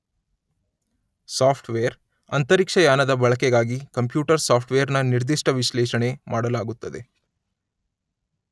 soft wear , ಅಂತರಿಕ್ಷಯಾನದ ಬಳಕೆಗಾಗಿ computer software ನ ನಿರ್ದಿಷ್ಟ ವಿಶ್ಲೇಷಣೆ ಮಾಡಲಾಗುತ್ತದೆ